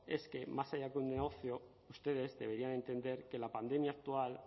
es que más allá que un negocio ustedes deberían entender que la pandemia actual